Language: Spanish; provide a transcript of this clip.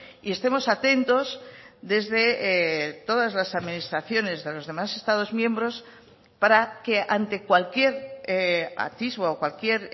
y estemos atentos desde todas las administraciones de los demás estados miembros para que ante cualquier atisbo o cualquier